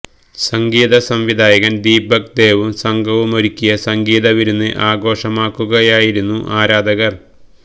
സംഗീത സംവിധായകന് ദീപക് ദേവും സംഘവുമൊരുക്കിയ സംഗീത വിരുന്ന് ആഘോഷമാക്കുകയായിരുന്നു ആരാധകർ